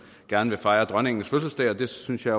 gerne vil fejre dronningens fødselsdag og det synes jeg